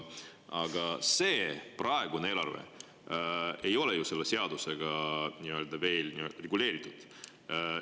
Aga seda praegust eelarvet ei ole ju selle seadusega veel nii-öelda reguleeritud.